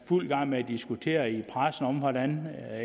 fuld gang med at diskutere i pressen hvordan